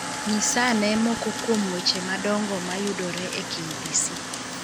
Nyisa ane moko kuom weche madongo mayudore e KBC.